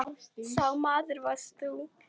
Sá maður varst þú.